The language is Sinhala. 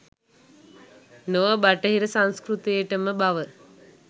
නොව බටහිර සංස්කෘතියටම බව